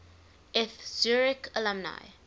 eth zurich alumni